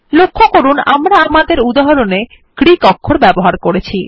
লক্ষ্য করুন আমরা আমাদের উদাহরণে গ্রীক অক্ষর ব্যবহার করেছি